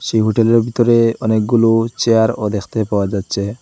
এই হোটেলের ভিতরে অনেকগুলো চেয়ারও দেখতে পাওয়া যাচ্ছে।